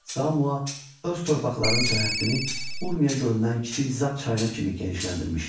Zamua öz torpaqlarının sərhəddini Urmiya gölündən kiçik Zab çayına kimi genişləndirmişdi.